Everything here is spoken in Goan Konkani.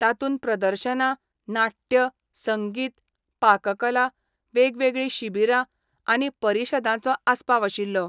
तातून प्रदर्शना, नाटय, संगीत, पाककला, वेगवेगळी शिबीरा आनी परीशदांचो आस्पाव आशिल्लो.